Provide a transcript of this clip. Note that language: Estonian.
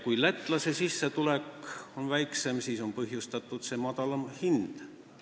Kui lätlase sissetulek on väiksem, siis on ka hinnad madalamad.